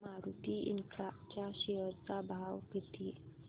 Maruti infra च्या share चा भाव किती